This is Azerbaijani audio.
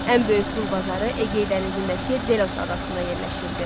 Ən böyük qul bazarı Egey dənizindəki Delos adasında yerləşirdi.